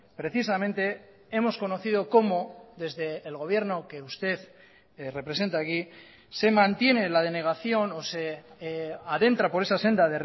precisamente hemos conocido cómo desde el gobierno que usted representa aquí se mantiene la denegación o se adentra por esa senda